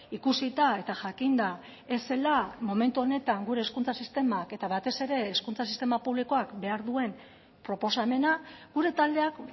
ikusita eta jakinda ez zela momentu honetan gure hezkuntza sistemak eta batez ere hezkuntza sistema publikoak behar duen proposamena gure taldeak